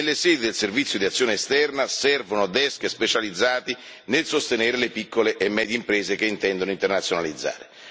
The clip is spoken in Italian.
Nelle sedi del Servizio per l'azione esterna servono desk specializzati nel sostenere le piccole e medie imprese che intendono internazionalizzare.